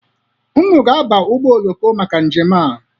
Unu ga-abarịrị ụgbọ oloko maka njem a.